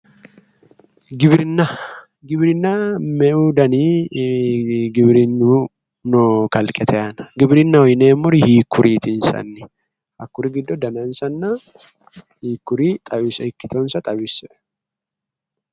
Giwirinna giwirinnu me"u dani giwirinni no kalqete aana giwirinnaho yineemmori hiikkuriiti insa hakkuri giddo dagansanna hiikkuri xawishsha ikkitonsa xawisse